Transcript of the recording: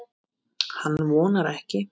Hann vonar ekki.